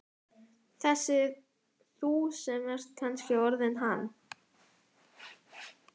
Þessi þú sem ert kannski orðinn hann.